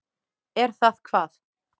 Er það hvað.